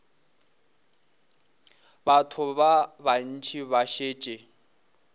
batho ba bantši ba šetše